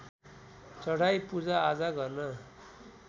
चढाई पूजाआजा गर्न